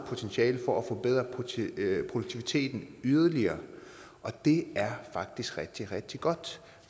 potentiale for at forbedre produktiviteten yderligere og det er faktisk rigtig rigtig godt